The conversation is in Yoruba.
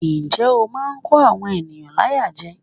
Njẹ́ ó máa ń kó àwọn ènìyàn láyà jẹ.